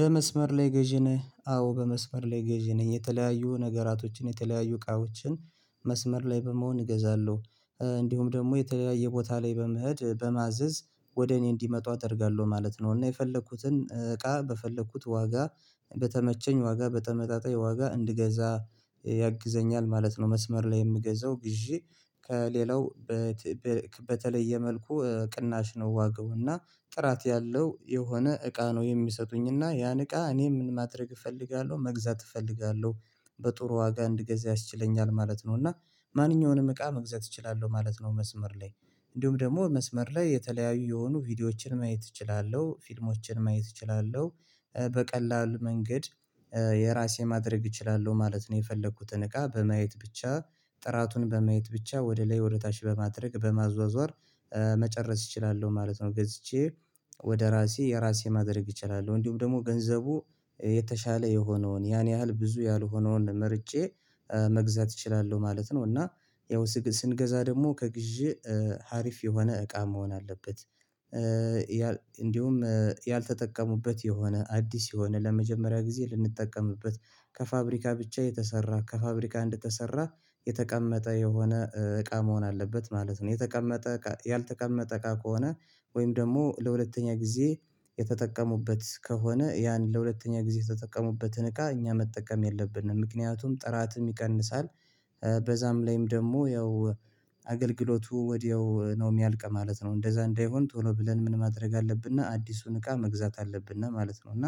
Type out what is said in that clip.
በመስመር ላይ ገዢ ነህ? አዎ በመስመር ላይ ገዢ ነህ የተለያዩ ነገራቶችን የተለያዩ እቃዎችን መስመር ላይ በመሆን እገዛለሁ እንዲሁም ደግሞ የተለያየ ቦታ ላይ በመሄድ በማዘዝ ወደ እኔ እንዲመጡ አደርጋለሁ ማለት ነው እና የፈለኩትን እቃ በፈለኩት ዋጋ በተመቸኝ ዋጋ በተመጣጣኝ ዋጋ እንድገዛ ያግዘኛል ማለት ነው መስመር ላይ የምገዛው ግዢ ከሌላው በ ተ በተለየ መልኩ ቅናሽ ነው ዋጋው እና ጥራት ያለው የሆነ እቃ ነው የሚሰጡኝ እና ያን እቃ እኔ ምን ማድረግ እፈልጋለሁ መግዛት እፈልጋለሁ በጥሩ ዋጋ አንድ ገዛ ያስችለኛል ማለት ነው እና ማንኛውንም እቃ መግዛት እችላለሁ ማለት ነው መስመር ላይ እንዲሁም ደግሞ መስመር ላይ የተለያዩ የሆኑ ቪዲዮዎችን ማየት እችላለሁ ፊልሞችን ማየት እችላለሁ በቀላል መንገድ የራሴ ማድረግ እችላለሁ ማለት ነው የፈለኩትን እቃ በማየት ብቻ ጥራቱን በማየት ብቻ ወደ ላይ ወደ ታች በማድረግ በማዟዟር መጨረስ እችላለሁ ማለት ነው ገዝቼ ወደ ራሴ የራሴ ማድረግ እችላለሁ እንዲሁም ደግሞ ገንዘቡ የተሻለ የሆነውን ያን ያህል ብዙ ያልሆነውን መርጬ መግዛት እችላለሁ ማለት ነው እና ያው ሰገ ስንገዛ ደግሞ ከግዢ ሀሪፍ የሆነ እቃ መሆን አለበት እንዲሁም ያልተጠቀሙበት የሆነ አዲስ የሆነ ለመጀመሪያ ጊዜ ልንጠቀምበት ከፋብሪካ ብቻ የተሰራ ከፋብሪካ እንደተሰራ የተቀመጠ የሆነ እቃ መሆን አለበት ማለት ነው የተቀመጠ ያልተቀመጠ እቃ ከሆነ ወይም ደግሞ ለሁለተኛ ጊዜ የተጠቀሙበት ከሆነ ያን ለሁለተኛ ጊዜ የተጠቀሙበትን እቃ እኛ መጠቀም የለብንም ምክንያቱም ጥራትም ይቀንሳል በዛም ላይም ደግሞ ያው አገልግሎቱ ወዲያው ነው የሚያልቅ ማለት ነው እንደዛ እንዳይሆን ቶሎ ብለን ምን ማድረግ አለብንና አዲሱን እቃ መግዛት አለብነ ማለት ነው እና